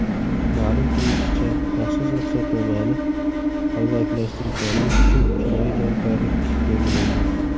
Ma’lum qilinishicha, maxsus ruxsatnomani qalbakilashtirganlik uchun jinoiy javobgarlik belgilangan.